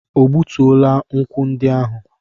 O gbutuola nkwụ ndị ahụ?